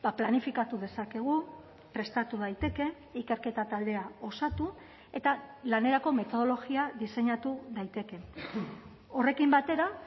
planifikatu dezakegu prestatu daiteke ikerketa taldea osatu eta lanerako metodologia diseinatu daiteke horrekin batera